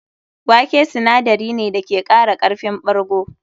Wake sinadari ne da ke kara karfin ɓargo.